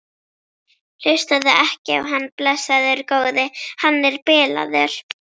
Hlustaðu ekki á hann, blessaður góði. hann er bilaður!